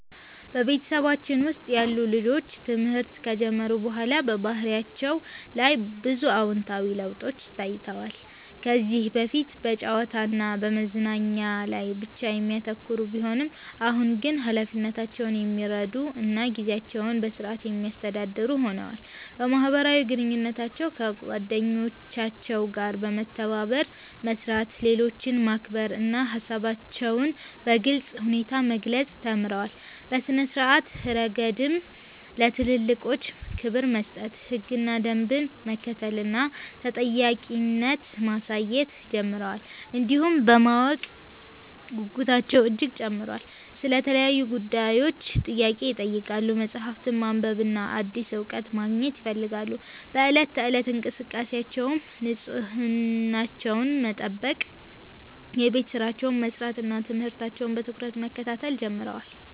በቤተሰባችን ውስጥ ያሉ ልጆች ትምህርት ከጀመሩ በኋላ በባህሪያቸው ላይ ብዙ አዎንታዊ ለውጦች ታይተዋል። ከዚህ በፊት በጨዋታ እና በመዝናኛ ላይ ብቻ የሚያተኩሩ ቢሆኑም፣ አሁን ግን ኃላፊነታቸውን የሚረዱ እና ጊዜያቸውን በሥርዓት የሚያስተዳድሩ ሆነዋል። በማህበራዊ ግንኙነታቸው ከጓደኞቻቸው ጋር በመተባበር መስራት፣ ሌሎችን ማክበር እና ሃሳባቸውን በግልጽ ሁኔታ መግለጽ ተምረዋል። በሥነ-ስርዓት ረገድም ለትልልቆች ክብር መስጠት፣ ህግና ደንብን መከተል እና ተጠያቂነት ማሳየት ጀምረዋል። እንዲሁም የማወቅ ጉጉታቸው እጅግ ጨምሯል፤ ስለ ተለያዩ ጉዳዮች ጥያቄ ይጠይቃሉ፣ መጽሐፍትን ማንበብና አዲስ እውቀት ማግኘት ይፈልጋሉ። በዕለት ተዕለት እንቅስቃሴያቸውም ንጽህናቸውን መጠበቅ፣ የቤት ሥራቸውን መስራት እና ትምህርታቸውን በትኩረት መከታተል ጀምረዋል።